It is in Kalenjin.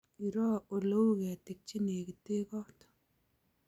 Iroo oleu ketik chenekitee koot